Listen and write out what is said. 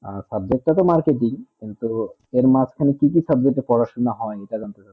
আ subject তা তো marketing কিন্তু এর মাছখানে কি কি subject এ পড়াশোনা হয়ে এইটা জানতে চ্চাছি